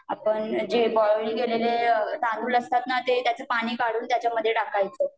आपण जे बोईल केलेले तांदूळ असतात ना, ते त्याचं पानी काढून ते त्याच्यामध्यी टाकायच